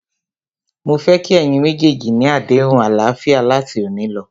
Mó fẹ́ kí ẹ̀yin méjèèjì ni àdéhùn àlàáfíà láti òní lọ.!